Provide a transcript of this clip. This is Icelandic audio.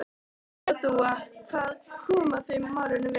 Baddi og Dúa, hvað koma þau málinu við?